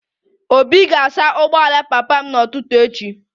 Obi ga-asa ụgbọala papa m n'ụtụtụ echi